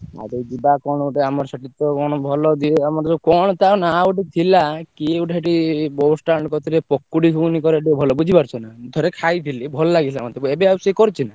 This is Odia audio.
ଆଉ ତାହେଲେ ଯିବା କଣ ଗୋଟେ ଆମ ସେଠି ତ କଣ ଭଲ ଦିଏ ଆମର ଯୋଉ କଣ ତା ନାଁ ଗୁଟେ ଥିଲା କିଏ ଗୋଟେ ସେଇଠି bus stand କତିରେ ପକୁଡି ଘୁଗୁନି କରେ ଟିକେ ଭଲ ବୁଝି ପାରୁଚ୍ଛ ନା। ମୁଁ ଥରେ ଖାଇ ଥିଲି ଭଲ ଲାଗିଥିଲା ମତେ ଏବେ ଆଉ ସିଏ କରୁଛି ନା?